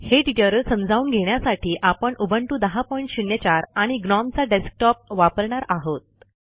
हे ट्युटोरियल समजावून घेण्यासाठी आपण उबंटू १००४ आणि ग्नोम चा डेस्कटॉप वापरणार आहोत